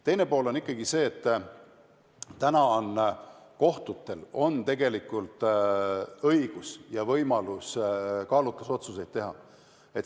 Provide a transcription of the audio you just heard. Teine pool aga on ikkagi see, et kohtutel on tegelikult õigus kaalutlusotsuseid teha.